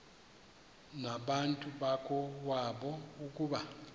nabantu bakowabo ukuba